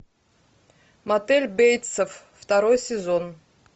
мотель бейтсов второй сезон